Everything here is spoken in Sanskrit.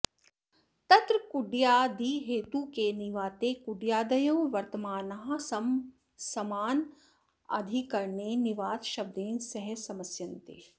तत्र कुड्यादिहेतुके निवाते कुड्यादयो वर्तमानाः समानाधिकरणेन निवातशब्देन सह समस्यन्ते